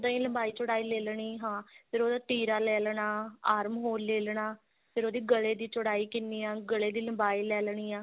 ਲੰਬਾਈ ਚੋੜਾਈ ਲੈ ਲੈਣੀ ਹਾਂ ਫੇਰ ਉਹਦਾ ਤੀਰਾ ਲੈ ਲੈਣਾ arm hole ਲੈ ਲੈਣਾ ਫੇਰ ਉਹਦੇ ਗਲੇ ਦੀ ਚੋੜਾਈ ਕਿੰਨੀ ਆ ਗਲੇ ਦੀ ਲਬਾਈ ਲੈ ਲੈਣੀ ਆ